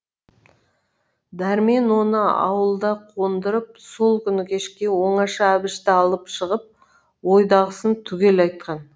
дәрмен оны ауылда қондырып сол күні кешке оңаша әбішті алып шығып ойдағысын түгел айтқан